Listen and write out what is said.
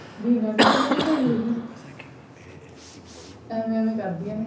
B ਇਹਨਾਂ ਨੇ ਤਾਂ ਨੀ ਲਕੋਈ ਹੈਗੀ ਐਵੇਂ ਐਵੇਂ ਕਰਦਿਆਂ ਨੇ